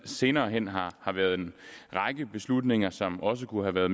senere hen har har været en række beslutninger som også kunne